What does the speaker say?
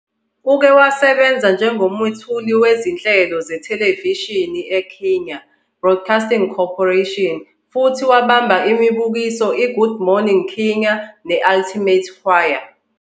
Uke wasebenza njengomethuli wezinhlelo zethelevishini eKenya Broadcasting Corporation futhi wabamba imibukiso "iGood Morning Kenya " "neThe Ultimate Choir".